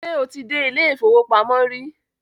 Ṣé o ti dé ilé-ìfowópamọ́ rí?